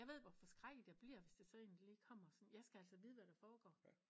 Jeg ved hvor forskrækket jeg bliver hvis der er så en der lige kommer sådan jeg skal altså vide hvad der foregår